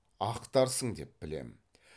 ақтарсың деп білемін